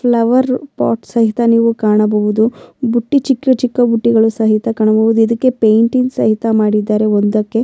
Flower pot ಸಹಿತ ನೀವು ಕಾಣಬಹುದು ಬುಟ್ಟಿ ಚಿಕ್ಕ ಚಿಕ್ಕ ಬುಟ್ಟಿಗಳು ಸಹಿತ ಕಾಣಬಹುದು ಇದಕ್ಕೆ ಪೇಂಟಿಂಗ್ ಸಹಿತ ಮಾಡಿದ್ದಾರೆ ಒಂದಕ್ಕೆ.